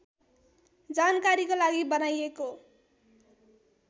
जानकारीको लागि बनाइएको